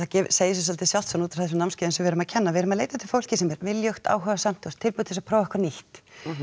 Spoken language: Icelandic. segir sig dálítið sjálft út frá þessum námskeiðum sem við erum að kenna að við erum að leita eftir fólki sem er viljugt áhugasamt og tilbúið til að prófa eitthvað nýtt